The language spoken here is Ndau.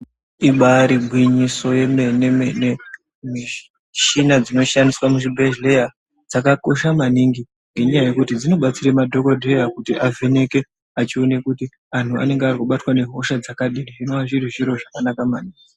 Ibaari gwinyiso remene mene michina dzinoshandiswa muzvibhedhlera michina dzakakosha maningi ngenyaya yekuti dzinodetsera madhokodheya kuti avheneke kuona kuti antu anenge ambobatwa ngehosha dziri zvinova zviro zvakanaka maningi.